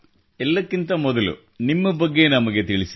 ಎಲ್ಲಕ್ಕಿಂತ ಮೊದಲು ನಿಮ್ಮ ಬಗ್ಗೆ ನಮಗೆ ತಿಳಿಸಿ